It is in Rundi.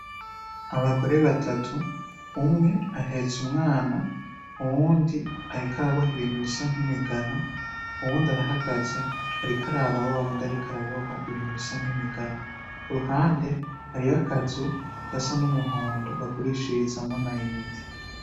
Abagore batatu umwe ahetse umwana, uwundi ariko araboha ibintu bisa nk'imigano, uwundi arahagaze ariko araba wawundi ariko araboha ibintu bisa nk'imigano. Kuruhande hariyo akazu gasa n'umuhondo bagurishirizamwo ama inite.